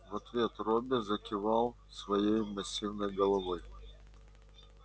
в ответ робби закивал своей массивной головой